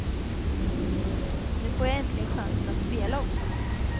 Nu får jag äntligen chansen att spela också.